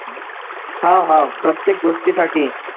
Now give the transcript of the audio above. हा हा प्रत्येक गोष्टीसाठी